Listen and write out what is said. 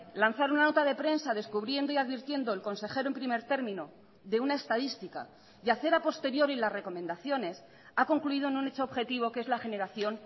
lanzar una nota de prensa descubriendo y advirtiendo el consejero en primer término de una estadística y hacer a posteriori las recomendaciones ha concluido en un hecho objetivo que es la generación